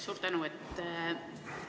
Suur tänu!